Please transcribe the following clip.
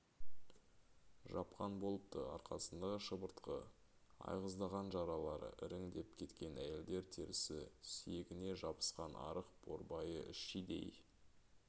жапқан болыпты арқасындағы шыбыртқы айғыздаған жаралары іріңдеп кеткен әйелдер терісі сүйегіне жабысқан арық борбайы шидей